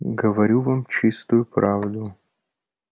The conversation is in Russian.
говорю вам чистую правду